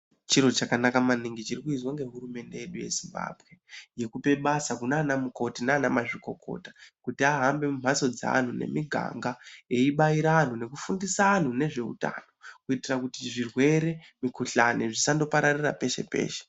Chiro chakanaka maningi chirikuizwa ngehurumende yedu yeZimbabwe yekupe basa kunana mikoti nana mazvikokota kutk ahambe mumhatso dzeantu nemiganga eyibaira antu eyifundisa anhu nezveutano kuitira kuti zvirwere, mikhuhlane zvisangopararira peshe peshe.